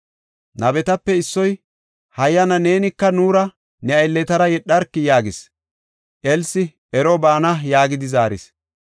Nabetape issoy, “Hayyana neenika nuura ne aylletara yedharkii?” yaagis. Elsi, “Ero baana” yaagidi zaaris;